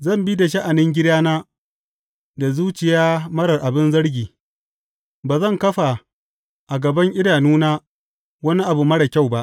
Zan bi da sha’anin gidana da zuciya marar abin zargi Ba zan kafa a gaban idanuna daya wani abu marar kyau ba.